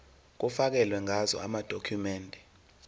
kufakelwe ngazo amadokhumende